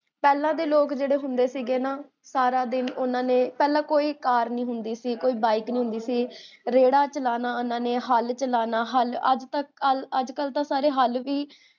ਪੇਹ੍ਲਾਂ ਦੇ ਲੋਗ ਜੇਹੜੇ ਹੁੰਦੇ ਸੀਗੇ ਨਾ, ਸਾਰਾ ਦਿਨ ਓਨਾ ਨੇ ਪੇਹ੍ਲਾਂ ਕੋਈ car ਨੀ ਹੁੰਦੀ ਸੀ, ਕੋਈ byke ਨੀ ਹੁੰਦੀ ਸੀ, ਰੇੜ੍ਹਾ ਚਲਾਨਾ ਓਨਾ ਨੇ, ਹਲ ਚਲਾਨਾ, ਅੱਜ ਕਲ ਤਾਂ ਸਾਰੇ ਹਲ ਵੀ